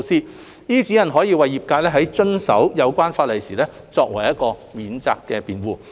這些指引可為業界在遵守有關法例時作為免責辯護。